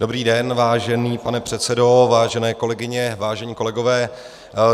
Dobrý den, vážený pane předsedo, vážené kolegyně, vážení kolegové.